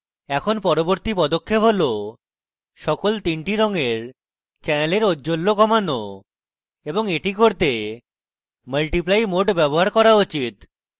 এখন পরবর্তী পদক্ষেপ হল সকল তিনটি রঙের channels ঔজ্জ্বল্য কমানো এবং এটি করতে multiply mode ব্যবহার করা উচিত এবং এবার